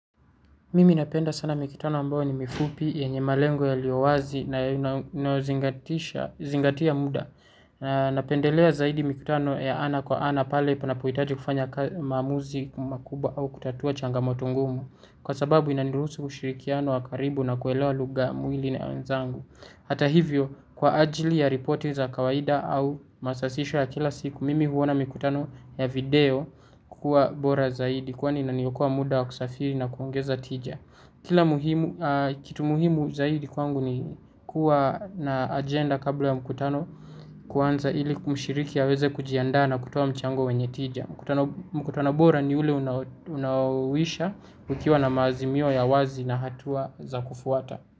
Mimi napenda sana mikutano ambayo ni mifupi, yenye malengo yaliowazi, na inayozingatia muda. Napendelea zaidi, mikitano ya ana kwa ana, pale panapo hitaji kufanya maamuzi, makubwa au kutatua changamoto ngumu. Kwa sababu inanani ruhusu, ushirikiano wa karibu na kuelewa lugha mwili na ya wenzangu. Hata hivyo, kwa ajili ya ripoti za kawaida au masasisho ya kila siku, mimi huona mikutano, ya video, kukua bora zaidi, kwani inaniokoa muda wa kusafiri na kuongeza tija. Kila muhimu. Kitu muhimu zaidi kwangu ni. Kuwa na agenda kabla ya mkutano. Kuanza ili mshiriki aweze kujiandaa na kutoa mchango wenye tija. Mkutano bora ni ule unaoisha. Ukiwa na maazimio ya wazi, na hatua, za kufuata.